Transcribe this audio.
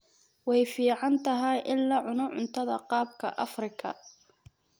Way fiican tahay in la cuno cuntada qaabka Afrika.